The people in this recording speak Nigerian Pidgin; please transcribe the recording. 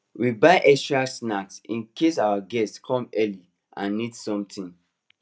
we buy extra snack in case our guests come early and need something